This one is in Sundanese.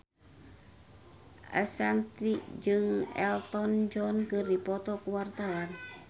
Ashanti jeung Elton John keur dipoto ku wartawan